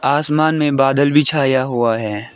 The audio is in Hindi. आसमान में बादल भी छाया हुआ है।